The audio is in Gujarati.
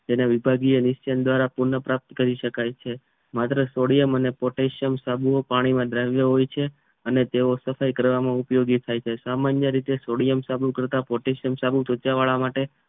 તેના વિભાગય નિશ્ચાત દ્વારા પુનર્પ્રાપ્ત કરી શકાય છે માત્ર સોડિયમ અને પોટેશિયમ સાબુ પાણી માં દ્રાવ્ય હોય છે તેવો સફાઇ કરવામાં ઉપયોગી થઈ છે સામાન્ય રીતે સોડિયમ સાબુ કરતાં પોટેશિયમ સાબુ ધોતિયાવાળા માટે